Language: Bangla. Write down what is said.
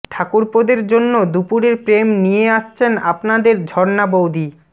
ঠাকুরপোদের জন্য দুপুরের প্রেম নিয়ে আসছেন আপনাদের ঝর্ণা বৌদি